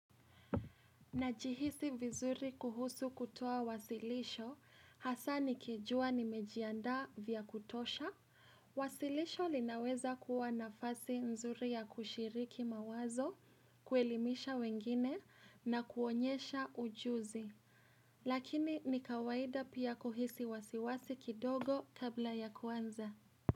Najihisi vizuri kuhusu kutoa wasilisho, hasa nikijua nimejiandaa vya kutosha. Wasilisho linaweza kuwa nafasi nzuri ya kushiriki mawazo, kuelimisha wengine na kuonyesha ujuzi. Lakini ni kawaida pia kuhisi wasiwasi kidogo kabla ya kuanza.